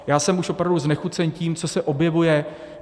Já jsem už opravdu znechucen tím, co se objevuje.